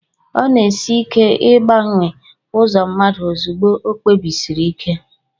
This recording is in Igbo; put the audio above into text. ọ na-esi ike ịgbanwe ụzọ mmadụ ozugbo o kpebisiri ike